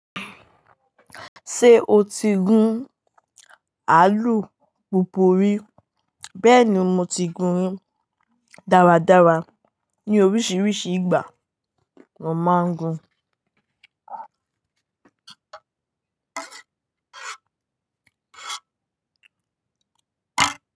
Ṣé o ti gun àlùpùpù rí? Bẹ́ẹ̀ni, mo ti gùn dáradára, ní òrìṣìírìsìí ìgbà ni mo máa ń gùn.